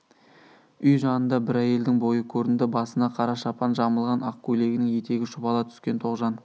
үй жанында бір әйелдің бойы көрінді басына қара шапан жамылған ақ көйлегінің етегі шұбала түскен тоғжан